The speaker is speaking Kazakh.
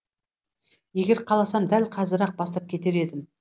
егер қаласам дәл қазір ақ бастап кетер едім